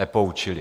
Nepoučili.